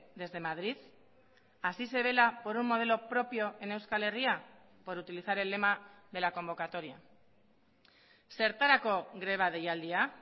desde madrid así se vela por un modelo propio en euskal herria por utilizar el lema de la convocatoria zertarako greba deialdia